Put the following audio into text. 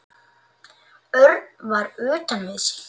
Örn var utan við sig.